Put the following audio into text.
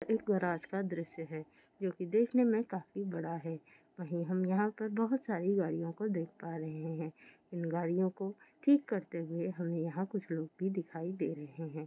एक गराज का द्रष्य है जोकी देखने में काफ़ी बड़ा है पर यहाँ पर बहुत सारी गाडियों को देख पा रहे है इन गाडियों ठीक करते हुए हमे यहाँ कुछ लोग भी दिखाई दे रहे है।